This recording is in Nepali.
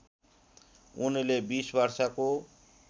उनले २० वर्षको